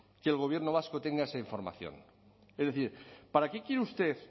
que el gobierno vasco tenga esa información es decir para qué quiere usted